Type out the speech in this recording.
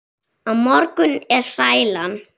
Á morgun er sælan.